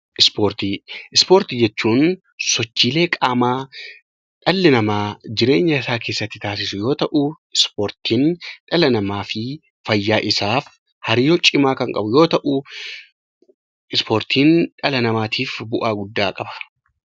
Ispoortii Ispoortii jechuun sochiilee qaamaa dhalli namaa jireenya isaa keessatti taasisu yeroo ta'u ispoortiin dhala namaa fi fayyaa isaaf hariiroo cimaa kan qabu yoo ta'u, ispoortiin dhala namaatiif bu'aa guddaa qaba.